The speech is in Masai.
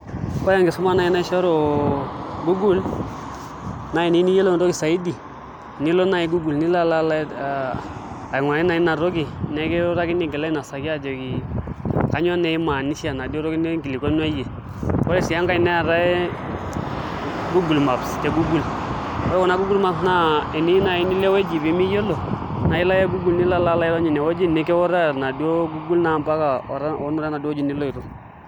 Ore enkisuma naai naishoru google naa eniyieu niyiolou entoki saidi nilo naai google nilo aa aing'uraa naai ina toki nikiutaki aigil ainosaki aajoki kainyioo naa imaanisha enaduo toki ninkilikuanua iyie ore sii enkae neetai google maps te google ore kuna google maps naa teniyieu naai nilo ewueji nemiyiolo naa ilo ake google nilo airony ine nikutaa enaduo google naa mpaka oonoto enaduo wueji niloito.